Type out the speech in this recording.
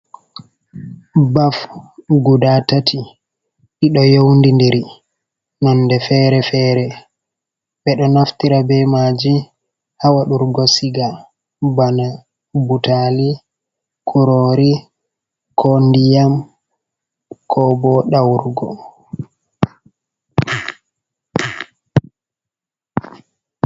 Ɓaf guda tati ɗi do younidiri nonɗe fere-fere ɓe ɗo naftira be maji ha wadurgo siga bana butali kurori ko ndiyam ko bo dawrugo.